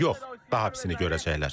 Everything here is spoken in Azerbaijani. Yox, daha pisini görəcəklər.